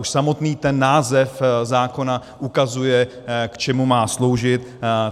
Už samotný ten název zákona ukazuje, k čemu má sloužit.